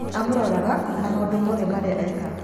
Amũroraga na maũndo mothe marĩa ekaga.